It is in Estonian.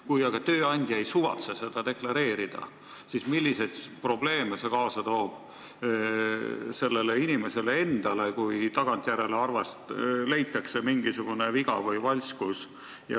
Kui aga tööandja ei suvatse seda deklareerida, siis milliseid probleeme toob see kaasa töötajale, kui tagantjärele leitakse mingisugune viga või valskus?